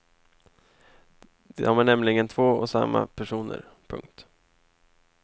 De är nämligen två och samma personer. punkt